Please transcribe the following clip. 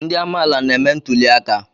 Ndị amaala na-eme ntuli aka.